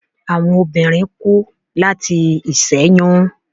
Awọn obinrin ku lati iṣẹyun